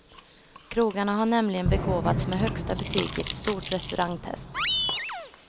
Krogarna har nämligen begåvats med högsta betyg i ett stort restaurangtest.